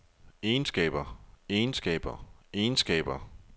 egenskaber egenskaber egenskaber